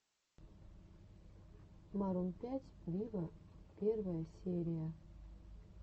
марун пять виво первая серия